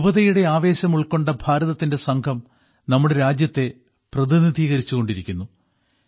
യുവതയുടെ ആവേശം ഉൾക്കൊണ്ട ഭാരതത്തിന്റെ സംഘം നമ്മുടെ രാജ്യത്തെ പ്രതിനിധീകരിച്ചുകൊണ്ടിരിക്കുന്നു